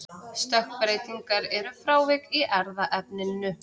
Stökkbreytingar eru frávik í erfðaefninu.